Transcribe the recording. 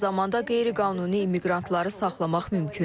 Eyni zamanda qeyri-qanuni immiqrantları saxlamaq mümkündür.